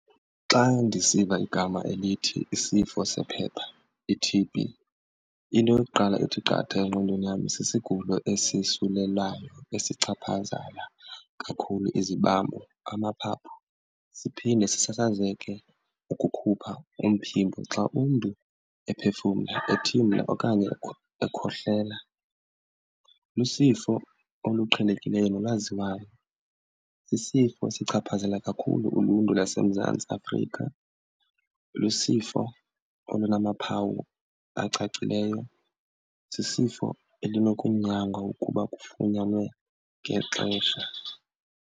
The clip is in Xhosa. Xa ndisiva igama elithi isifo sephepha i-T_B into yokuqala ethi qatha engqondweni yam sisigulo esisulelayo esichaphazela kakhulu izibambo, amaphaphu, siphinde sisazeke ukukhupha umphimbo xa umntu ephefumla, ethimla okanye ekhohlela. Lusifo oluqhelekileyo nolwaziwayo. Sisifo esichaphazela kakhulu uluntu lwaseMzantsi Afrika. Lusifo olunomaphawu acacileyo. Sisifo elinokunyangwa ukuba kufunyanwe ngexesha.